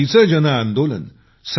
प्रगतीचं जनआंदोलन